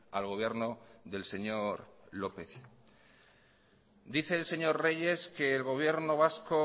al gobierno del señor lópez dice el señor reyes que el gobierno vasco